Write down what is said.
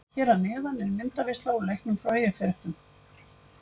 Hér að neðan er myndaveisla úr leiknum frá Eyjafréttum.